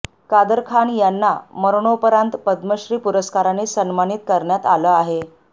कादर खान यांना मरणोपरांत पद्मश्री पुरस्काराने सन्मानित करण्यात आलं आहे